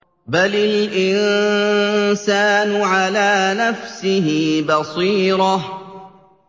بَلِ الْإِنسَانُ عَلَىٰ نَفْسِهِ بَصِيرَةٌ